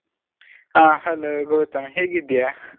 ಹಾ hello ಗೌತಮ್ ಹೇಗಿದ್ದೀಯಾ?